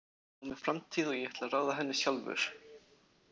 Ég á mér framtíð og ég ætla að ráða henni sjálfur.